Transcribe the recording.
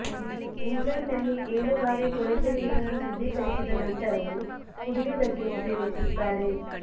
ಇಂಗ್ಲೆಂಡ್ನಲ್ಲಿ ಏಳು ಬಾರಿ ಕೊಳಚೆ ನೀರನ್ನು ಶುದ್ಧೀಕರಿಸಿದ ನಂತರವೂ ಕುಡಿಯುವುದಕ್ಕೆ ಉಪಯೋಗಿಸುತ್ತಾರೆ